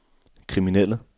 kriminelle